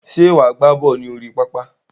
Ṣé wà á gbá bọ́ọ̀lù ní orí pápá?